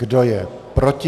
Kdo je proti?